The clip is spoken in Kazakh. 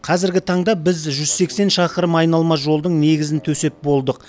қазіргі таңда біз жүз сексен шақырым айналма жолдың негізін төсеп болдық